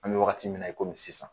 An be wagati min na i komi sisan